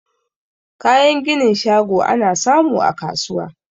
Kayan ginin shago ana samu a kasuwa